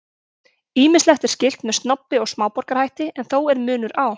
Ýmislegt er skylt með snobbi og smáborgarahætti en þó er munur á.